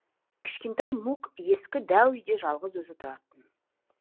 кішкентай мук ескі дәу үйде жалғыз өзі тұратын